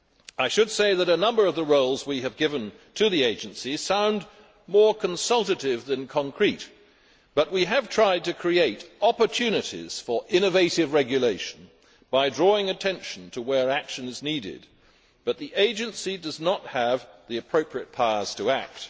I should say that a number of the roles we have given to the Agency sound more consultative than concrete, but we have tried to create opportunities for innovative regulation by drawing attention to areas where action is needed but the Agency does not have the appropriate powers to act.